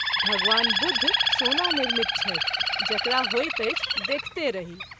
भगवान बुद्ध सोना निर्मित छथि जकरा होइत अछि देखते रही।